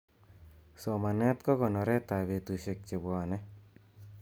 somanet kokonoret ap betusiek chepwoni